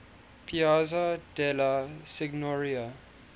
piazza della signoria